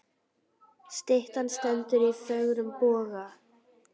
Styttan stendur í fögrum boga.